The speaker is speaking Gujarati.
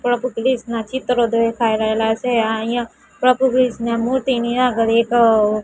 પ્રભુ ક્રિષ્ના ચિત્ર દેખાઈ રહેલા છે આ અહીંયા પ્રભુ ક્રિષ્ના મૂર્તિ ની આગળ એક--